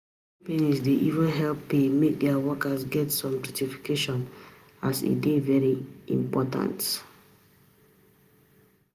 Many companies dey even help pay make their workers get some certification as e dey very important.